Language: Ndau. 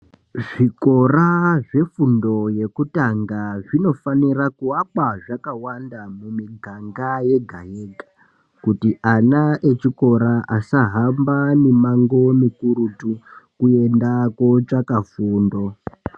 Zvikora zve fundo yekutanga zvino fanira ku akwa zvaka wanda mu miganga yega yega kuti ana echikora asa hamba mi mango mikurutu kuenda ko tsvaka fundo.